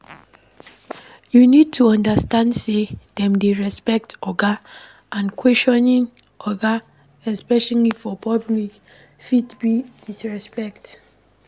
You need to understand sey dem dey respect oga and questioning oga especially for public fit be disrespect